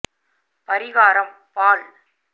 பரிகாரம் பால்